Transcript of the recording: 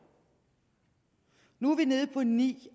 nu er vi nede på ni